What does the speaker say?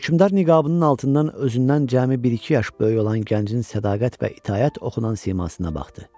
Hökmdar niqabının altından özündən cəmi bir-iki yaş böyük olan gəncin sədaqət və itaət oxunan simasına baxdı.